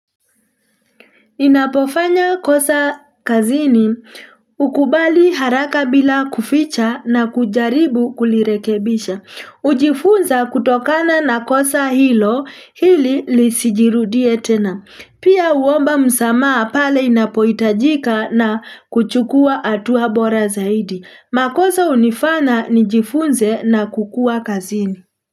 Ninapofanya kosa kazini ukubali haraka bila kuficha na kujaribu kulirekebisha. Ujifunza kutokana na kosa hilo hili lisijirudie tena. Pia uomba msamaa pale inapoitajika na kuchukua atuwa bora zaidi. Makosa unifana nijifunze na kukua kazini.